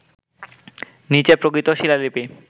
নিচে প্রকৃত শিলালিপি